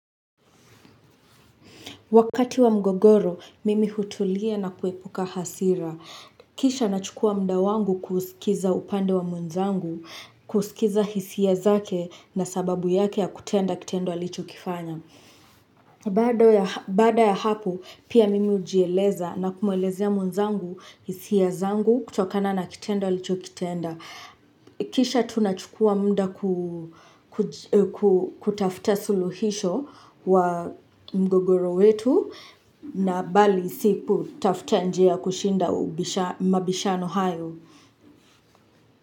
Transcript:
Wakati wa mgogoro, mimi hutulia na kuepuka hasira. Kisha nachukua muda wangu kusikiza upande wa mwenzangu, kusikiza hisia zake na sababu yake ya kutenda kitendo alichokifanya. Baada ya hapo pia mimi hujieleza na kumuelezea mwenzangu, hisia zangu, kutokana na kitendo alichokitenda. Kisha tunachukua muda kutafuta suluhisho wa mgogoro wetu na bali si kutafuta njia ya kushinda mabishano hayo.